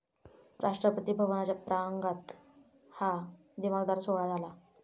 राष्ट्रपती भवनाच्या प्रांगणात हा दिमाखदार सोहळा झाला.